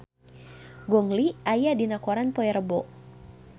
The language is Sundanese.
Gong Li aya dina koran poe Rebo